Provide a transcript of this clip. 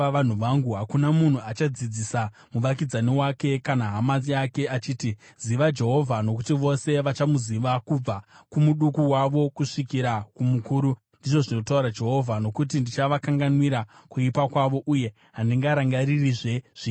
Hakuna munhu achadzidzisa muvakidzani wake kana hama yake, achiti, ‘Ziva Jehovha,’ nokuti vose vachandiziva, kubva kumuduku wavo kusvikira kumukuru,” ndizvo zvinotaura Jehovha. “Nokuti ndichavakanganwira kuipa kwavo, uye handingarangaririzve zvivi zvavo.”